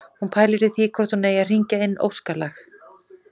Hún pælir í því hvort hún eigi að hringja inn óskalag